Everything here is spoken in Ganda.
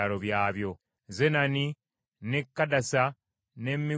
Zenani, n’e Kadasa, n’e Migudalugadi,